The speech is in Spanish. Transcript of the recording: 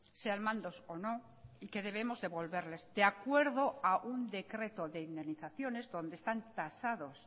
sean mandos o no y que debemos devolverles de acuerdo a un decreto de indemnizaciones donde están tasados